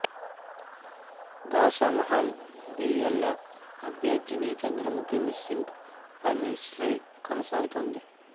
Goshamahal BLF అభ్యర్థిని Chandramukhi missing పై mystery కొనసాగుతోంది